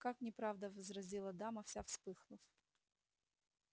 как неправда возразила дама вся вспыхнув